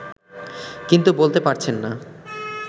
কিন্তু বলতে পারছেন না